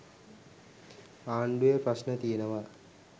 ආණ්ඩුවේ ප්‍රශ්න තියෙනවා.